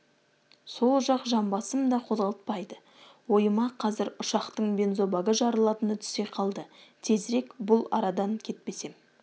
сол жақ жамбасым да қозғалтпайды ойыма қазір ұшақтың бензобагы жарылатыны түсе қалды тезірек бұл арадан кетпесем